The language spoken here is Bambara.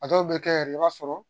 A dɔw bɛ kɛ yɛrɛ i b'a sɔrɔ